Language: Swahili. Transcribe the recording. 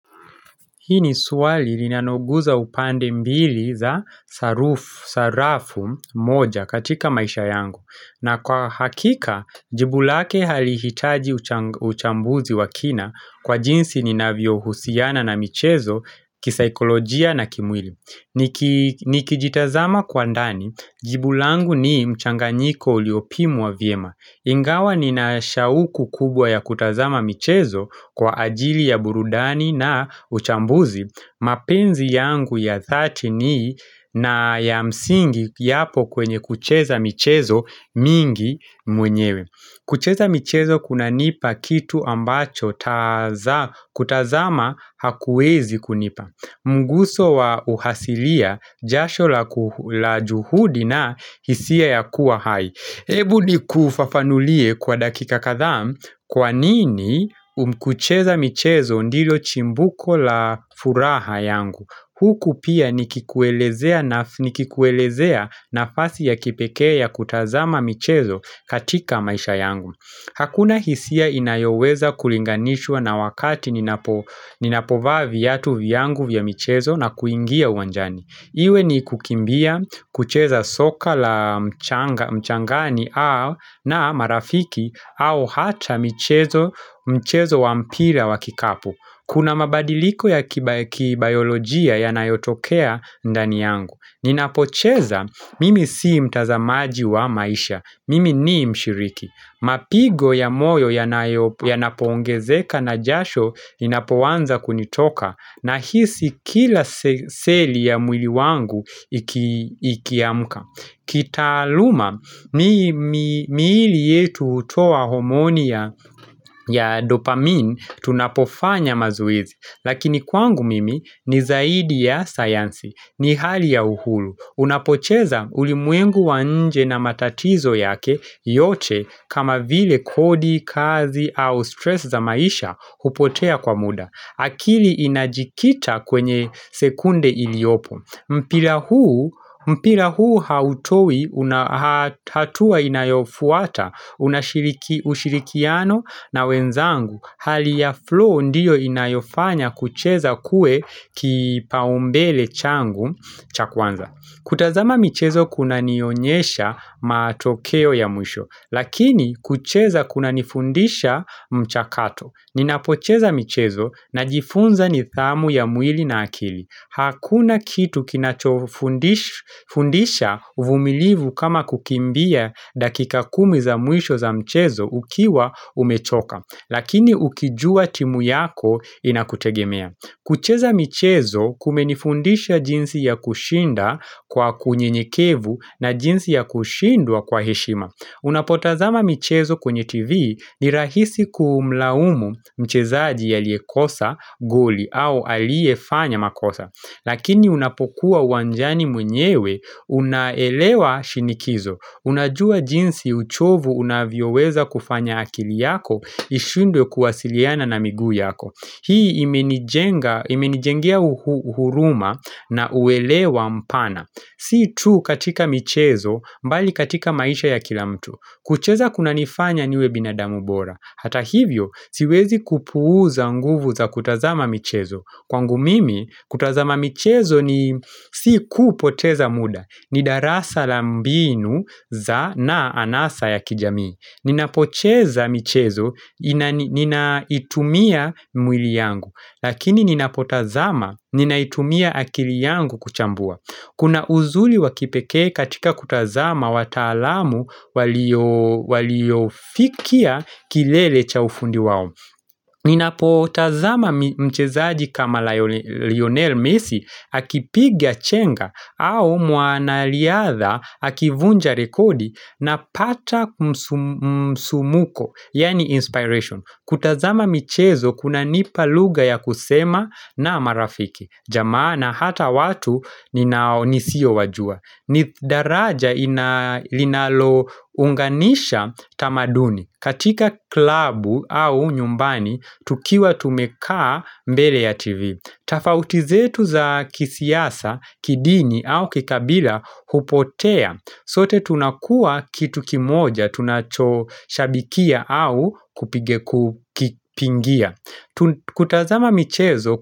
Hii ni swali linanoguza upande mbili za sarafu moja katika maisha yangu. Na kwa hakika, jibu lake halihitaji uchambuzi wa kina kwa jinsi ninavyo husiana na michezo, kisaikolojia na kimwili. Nikijitazama kwa ndani, jibu langu ni mchanganyiko uliopimwa vyema. Ingawa ni na shauku kubwa ya kutazama michezo kwa ajili ya burudani na uchambuzi, mapenzi yangu ya thati ni na ya msingi iyapo kwenye kucheza michezo mingi mwenyewe. Kucheza michezo kunanipa kitu ambacho kutazama hakuwezi kunipa. Munguso wa uhasilia jasho la juhudi na hisia ya kuwa hai. Ebu ni kufafanulie kwa dakika kathaa kwa nini kucheza michezo ndilio chimbuko la furaha yangu huku pia nikikuelezea nafasi ya kipekea ya kutazama michezo katika maisha yangu Hakuna hisia inayoweza kulinganishwa na wakati ninapovaa viatu vyangu vya michezo na kuingia uwanjani iwe ni kukimbia, kucheza soka la mchangani au na marafiki au hata mchezo wa mpira wa kikapu Kuna mabadiliko ya kibayolojia ya nayotokea ndani yangu Ninapocheza, mimi sii mtazamaji wa maisha, mimi nii mshiriki Mapigo ya moyo ya napoongezeka na jasho inapowanza kunitoka na hisi kila seli ya mwili wangu ikiamuka kitaluma, miili yetu utoa homonia ya dopamine tunapofanya mazuizi Lakini kwangu mimi ni zaidi ya sayansi, ni hali ya uhulu unapocheza ulimwengu nje na matatizo yake yote kama vile kodi, kazi au stress za maisha upotea kwa muda akili inajikita kwenye sekunde iliopo mpira huu hautoi hatua inayofuata unashirikiano na wenzangu hali ya flow ndiyo inayofanya kucheza kue kipaumbele changu chakwanza kutazama michezo kuna nionyesha matokeo ya mwisho Lakini kucheza kuna nifundisha mchakato Ninapocheza michezo na jifunza nidhamu ya muili na akili Hakuna kitu kinachofundisha vumilivu kama kukimbia dakika kumi za muisho za michezo ukiwa umechoka Lakini ukijua timu yako inakutegemea kucheza michezo kumenifundisha jinsi ya kushinda kwa kunye nikevu na jinsi ya kushindwa kwa heshima Unapotazama mchezo kwenye TV ni rahisi kumlaumu mchezaji yaliekosa goli au aliefanya makosa. Lakini unapokua uwanjani mwenyewe unaelewa shinikizo. Unajua jinsi uchovu unavyoweza kufanya akili yako ishundwe kuwasiliana na miguu yako. Hii imenijengia uhuruma na uelewa mpana. Si tu katika michezo mbali katika maisha ya kila mtu. Kucheza kuna nifanya niwe binadamu bora. Hata hivyo siwezi kupuuza nguvu za kutazama michezo. Kwangu mimi kutazama michezo ni si kupoteza muda. Ni darasa la mbinu za anasa ya kijamii. Ninapocheza michezo, ninaitumia mwili yangu, lakini ninapotazama ninaitumia akili yangu kuchambua. Kuna uzuri wakipeke katika kutazama watalamu waliofikia kilele cha ufundi wao. Ninapotazama mchezaji kama Lionel Messi akipigia chenga au mwanaliadha akivunja rekodi na pata kumsumuko, yaani inspiration. Kutazama mchezo kuna nipa lugha ya kusema na marafiki. Jamaa na hata watu ninaonisio wajua. Ni daraja linalo unganisha tamaduni katika klabu au nyumbani tukiwa tumekaa mbele ya TV Tafauti zetu za kisiasa, kidini au kikabila upotea sote tunakua kitu kimoja tunachoshabikia au kupingia kutazama michezo.